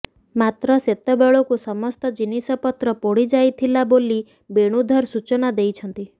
ମାତ୍ର ସେତେବେଳକୁ ସମସ୍ତ ଜିନିଷପତ୍ର ପୋଡିଯାଇଥିଲା ବୋଲି ବେଣୁଧର ସୂଚନା ଦେଇଛନ୍ତି